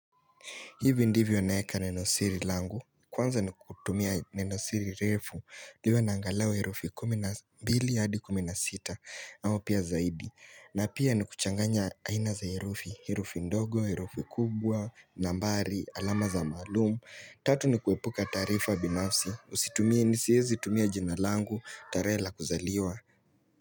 Hivi ndivyo naeka neno siri langu, kwanza ni kutumia neno siri refu liwe na angalau herufi 12 hadi 16 au pia zaidi. Na pia ni kuchanganya aina za herufi, herufi ndogo, herufi kubwa, nambari, alama za maalumu. Tatu ni kuepuka taarifa binafsi, usitumie nisiezi tumia jina langu, tarehe la kuzaliwa.